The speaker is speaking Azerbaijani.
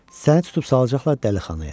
Səni tutub salacaqlar dəlixanaya.